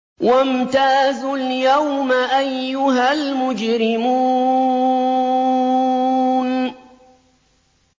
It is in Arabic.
وَامْتَازُوا الْيَوْمَ أَيُّهَا الْمُجْرِمُونَ